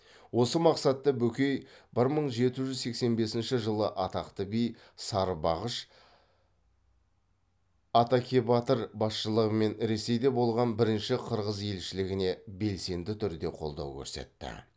осы мақсатта бөкей бір мың жеті жүз сексен бесінші жылы атақты би сарыбағыш атакебатыр басшылығымен ресейде болған бірінші қырғыз елшілігіне белсенді түрде қолдау көрсетті